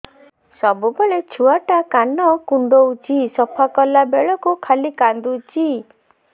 ସବୁବେଳେ ଛୁଆ ଟା କାନ କୁଣ୍ଡଉଚି ସଫା କଲା ବେଳକୁ ଖାଲି କାନ୍ଦୁଚି